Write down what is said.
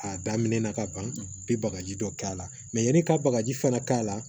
A daminɛ na ka ban i bi bagaji dɔ k'a la yanni i ka bagaji fana k'a la